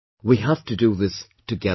We have to do this together